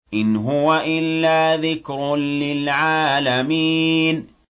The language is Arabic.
إِنْ هُوَ إِلَّا ذِكْرٌ لِّلْعَالَمِينَ